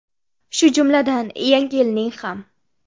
Shu jumladan, Yangi yilning ham.